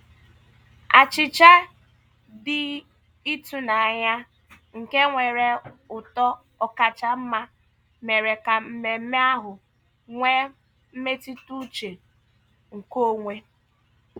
Achịcha dị ịtụnanya nke nwere ụtọ ọkacha mma mere ka mmemme ahụ nwee mmetụtauche nke onwe.